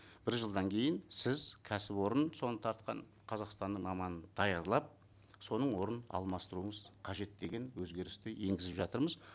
бір жылдан кейін сіз кәсіпорын соны тартқан қазақстанның маманын даярлап соның орнын алмастыруыңыз қажет деген өзгерісті енгізіп жатырмыз